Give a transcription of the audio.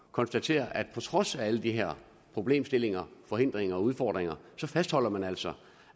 konstatere at på trods af alle de her problemstillinger forhindringer og udfordringer fastholder man altså